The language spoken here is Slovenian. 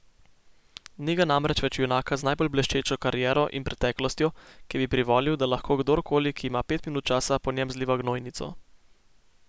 Ni ga namreč več junaka z najbolj bleščečo kariero in preteklostjo, ki bi privolil, da lahko kdorkoli, ki ima pet minut časa, po njem zliva gnojnico.